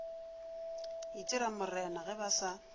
itira morena ge ba sa